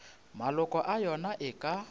maloko a yona e ka